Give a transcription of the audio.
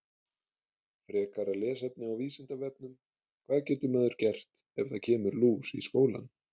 Frekara lesefni á Vísindavefnum: Hvað getur maður gert ef það kemur lús í skólann?